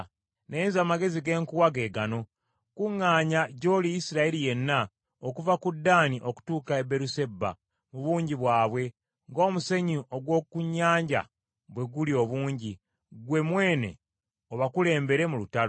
“Naye nze amagezi ge nkuwa ge gano: kuŋŋaanya gy’oli Isirayiri yenna okuva ku Ddaani okutuuka e Beeruseba, mu bungi bwabwe, ng’omusenyu ogw’oku nnyanja bwe guli obungi, ggwe mwene obakulembere mu lutalo.